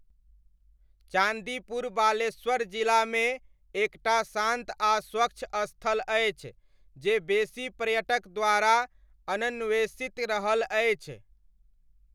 चान्दीपुर बालेश्वर जिलामे एक टा शान्त आ स्वच्छ स्थल अछि जे बेसी पर्यटक द्वारा अनन्वेषित रहल अछि।